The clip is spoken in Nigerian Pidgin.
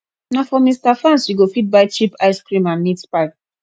na for mr fans you go fit buy cheap ice cream and meat pie